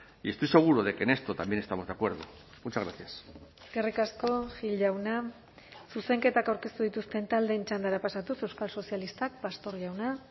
y estoy seguro de que en esto también estamos de acuerdo muchas gracias eskerrik asko gil jauna zuzenketak aurkeztu dituzten taldeen txandara pasatuz euskal sozialistak pastor jauna